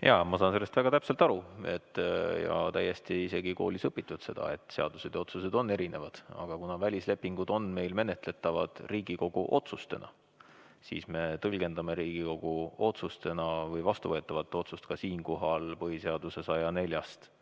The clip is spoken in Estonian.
Jaa, ma saan sellest väga hästi aru ja isegi koolis sai õpitud seda, et seadused ja otsused on erinevad, aga kuna välislepinguid me menetleme Riigikogu otsustena, siis me tõlgendame vastuvõetavat otsust ka siinkohal lähtuvalt põhiseaduse §-st